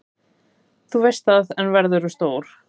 Þú veist það, er verðurðu stór.